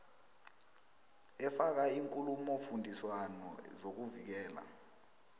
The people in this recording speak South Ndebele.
efaka iinkulumofundiswano zokuvikela